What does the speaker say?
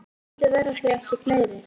Vonandi verða þau ekki fleiri.